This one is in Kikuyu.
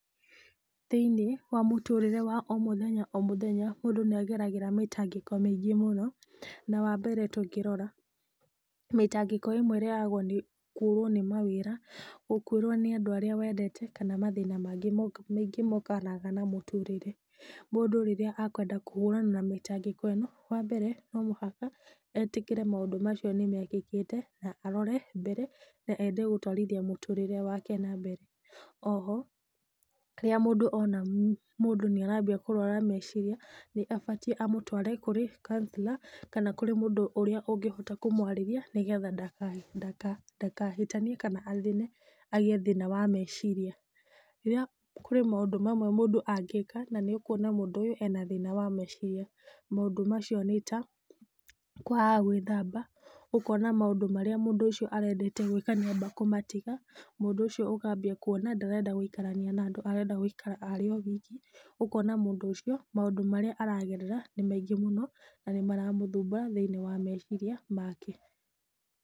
Thĩiniĩ wa mũtũrĩre wa o mũthenya o mũthenya , mũndũ nĩ ageragĩra mĩtangĩko mĩingĩ mũno, nĩ wa mbere tũngĩrora, mĩtangĩko ĩmwe yũkaga nĩ kũrwo nĩ mawĩra, gũkwĩrwo nĩ andũ arĩa wendete kana mangĩ maingĩ mokaga na mũtũrĩre , mũndũ rĩrĩa akwenda kũhũrana na mĩtangĩko ĩno no mũhaka etĩkĩre maũndũ macio nĩmekĩkĩte, na arore mbere nende gũtwarithia mũtũrĩre wake na mbere , oho rĩrĩa mũndũ ona mũndũ nĩ ambia kũrwara meciria nĩ abatiĩ amũtware kũrĩ counsellor, kana kũrĩ mũndũ ũngĩhota kũmwarĩria, nĩgetha ndaka ndaka ndakahĩtanie kana athĩne agĩe na thĩna wa meciria, na kũrĩ maũndũ mamwe mũndũ angĩka na wone mũndũ ũyũ arĩ na thĩna wa meciria, maũndũ macio nĩta kwaga gwĩthamba , ũkona maũndũ marĩa mũndũ ũcio arendete gwĩka, nĩ amba kũmatiga, mũndũ ũcio ũkambia kuona ndarenda gũikarania na andũ arenda gũikara e wiki, ũkona mũndũ ũcio maũndũ marĩa aragerera nĩ maingĩ mũno na nĩ mara mũthumbũra thĩiniĩ wa meciria make.